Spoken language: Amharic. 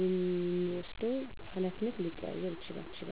የምንወስደው ሀላፊነት ሊቀያየር ይችላል።